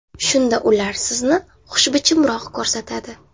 Shunda ular sizni xushbichimroq ko‘rsatadi.